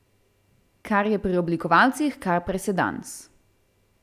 Kar je pri oblikovalcih kar presedans.